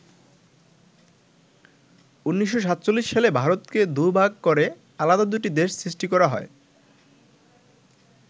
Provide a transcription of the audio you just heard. ১৯৪৭ সালে ভারতকে দুভাগ করে আলাদা দুটি দেশ সৃষ্টি করা হয়।